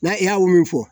N'a y'a mun mun fɔ